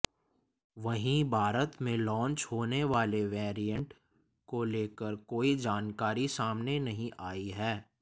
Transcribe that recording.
वहीं भारत में लॉन्च होने वाले वैरिएंट को लेकर कोई जानकारी सामने नहीं आई है